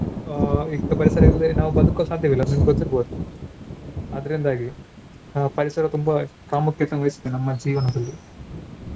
ಅಹ್ ಈಗ ಪರಿಸರವಿಲ್ಲದೆ ನಾವು ಬದುಕಲು ಸಾಧ್ಯವಿಲ್ಲ ಅದ್ ನಿಮ್ಗೆ ಗೊತ್ತಿರ್ಬೋದು ಅದ್ರಿಂದಾಗಿ ನಾವು ಪರಿಸರ ತುಂಬಾ ಪ್ರಾಮುಖ್ಯತೆ ವಹಿಸುತ್ತದೆ ನಮ್ಮ ಜೀವನದಲ್ಲಿ.